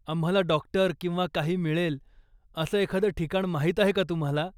आम्हाला डाॅक्टर किंवा काही मिळेल असं एखादं ठिकाण माहीत आहे का तुम्हाला?